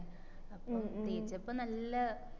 അപ്പോം തേച്ചപ്പോ നല്ല